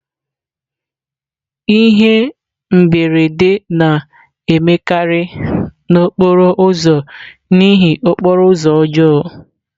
Ihe mberede na-emekarị n'okporo ụzọ n'ihi okporo ụzọ ọjọọ.